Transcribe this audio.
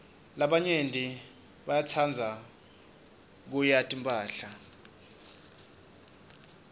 labanyenti bayatsrdza kubanya timphahla